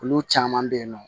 Olu caman bɛ yen nɔ